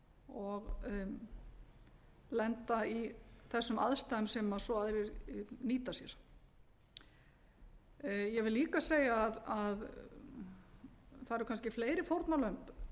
og lenda í þessum aðstæðum sem svo aðrir nýta sér ég vil líka segja að það eru kannski fleiri fórnarlömb